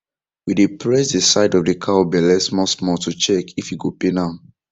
we dey press the side of the cow belle small small to check if e go pain am